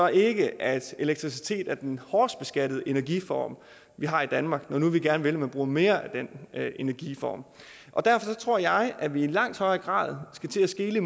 ikke at elektricitet er den hårdest beskattede energiform vi har i danmark når nu vi gerne vil man bruger mere af den energiform derfor tror jeg at vi i langt højere grad skal til at skele